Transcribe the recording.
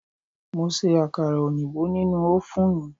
Mo ṣe àkàrà oyinbo nínú ófùnù